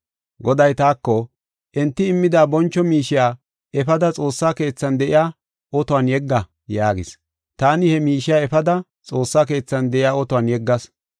Goday taako, “Enti immida boncho miishiya efada xoossa keethan de7iya otuwan yegga” yaagis. Taani he miishiya efada xoossa keethan de7iya otuwan yeggas.